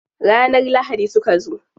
Ranar lahadi suka zo.